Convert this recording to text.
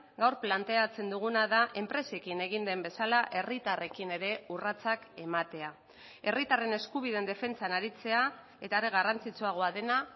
gaur planteatzen duguna da enpresekin egin den bezala herritarrekin ere urratsak ematea herritarren eskubideen defentsan aritzea eta are garrantzitsuagoa dena